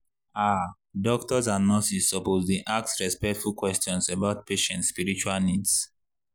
ah doctors and nurses suppose dey ask respectful questions about patient spiritual needs.